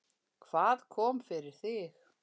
Hvað kom fyrir þig?